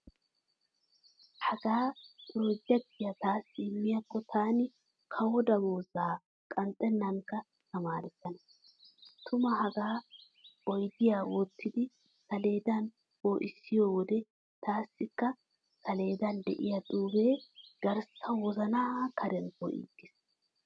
Hagaa pirojekitiya taassi immiyaakko taani kawoy damoozza qanxxennankka tamaarissana. Tuma hagaa oydiyan wottidi saleedan poo'issiyo wode taassikka saleedan de'iya xuufee garssa wozanaa kaaran poo'iigees.